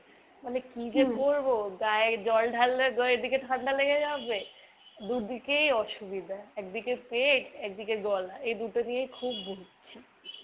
মানে কি যে করবো গায়ে জল ঢাললে এদিকে ঠান্ডা লেগে যাবে। দু'দিকেই অসুবিধা। একদিকে পেট একদিকে গলা এই দুটো নিয়েই খুব ভুগছি।